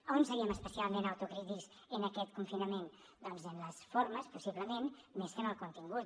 on seríem especialment autocrítics en aquest confinament doncs en les formes possiblement més que en el contingut